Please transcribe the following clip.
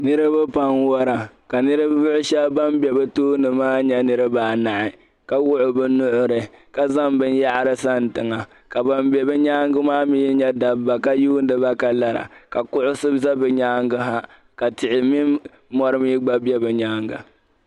Niriba pam n-wara, ka niriba shɛb'ban be bi tooni maa nyɛ niriba anahi ka wuɣi bi nuɣiri ka zaŋ bin' yaɣiri sani tiŋa. Ka ban be bi nyaaŋga maa mi nyɛ dabba ka yuundi ba ka lara. Ka kuɣisi za bi nyaaŋgi ha ka tihi min mɔri mi gba be bi nyaaŋga.